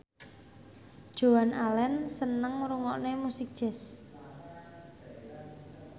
Joan Allen seneng ngrungokne musik jazz